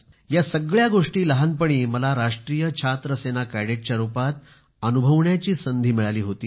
या सगळ्या गोष्टी लहानपणी मला राष्ट्रीय छात्र सेना कॅडेटच्या रूपात अनुभवण्याची संधी मिळाली होती